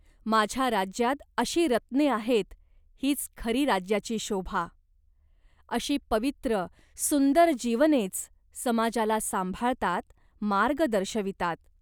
माझ्या राज्यात अशी रत्ने आहेत, हीच खरी राज्याची शोभा. अशी पवित्र सुंदर जीवनेच समाजाला सांभाळतात, मार्ग दर्शवितात.